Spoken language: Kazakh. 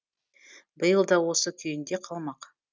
биыл да осы күйінде қалмақ